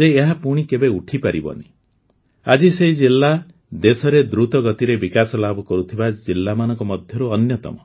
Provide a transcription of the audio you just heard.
ଯେ ଏହା ପୁଣି କେବେ ଉଠିପାରିବନି ଆଜି ସେହି ଜିଲ୍ଲା ଦେଶରେ ଦ୍ରୁତ ଗତିରେ ବିକାଶ ଲାଭ କରୁଥିବା ଜିଲ୍ଲାମାନଙ୍କ ମଧ୍ୟରୁ ଅନ୍ୟତମ